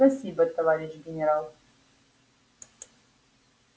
спасибо товарищ генерал